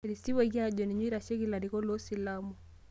Eitisipuaki aajo ninye oitasheki larikok loo silamu